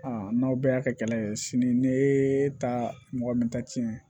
n'aw bɛɛ y'a kɛ kɛlɛ ye sini ne ta mɔgɔ min ta cin